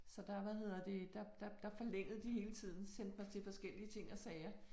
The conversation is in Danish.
Så der hvad hedder det der der der forlængede de hele tiden sendte mig til forskellige ting og sager